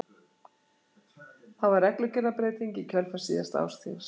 Það var reglugerðarbreyting í kjölfar síðasta ársþings.